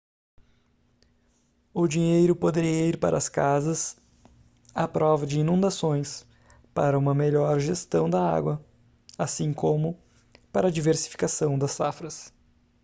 o dinheiro poderia ir para as casas à prova de inundações para uma melhor gestão da água assim como para a diversificação das safras